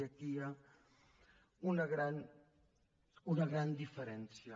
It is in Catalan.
i aquí hi ha una gran diferència